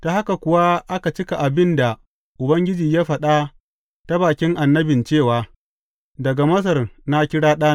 Ta haka kuwa aka cika abin da Ubangiji ya faɗa ta bakin annabin cewa, Daga Masar na kira ɗana.